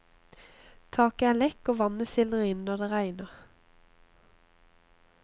Taket er lekk, og vannet sildrer inn når det regner.